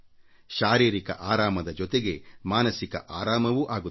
ಶಾರೀರಿಕ ಹಗುರದ ಜೊತೆಗೆ ಮಾನಸಿಕ ವಿಶ್ರಾಂತಿಯೂ ಲಭಿಸುತ್ತದೆ